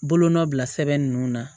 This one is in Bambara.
Bolonɔ bila sɛbɛn nunnu na